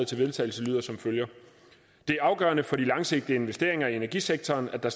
til vedtagelse det er afgørende for de langsigtede investeringer i energisektoren at der